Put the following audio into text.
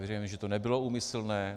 Věřím, že to nebylo úmyslné.